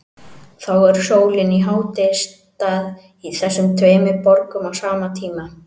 Þá er sólin í hádegisstað í þessum tveimur borgum á sama tíma.